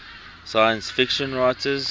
science fiction writers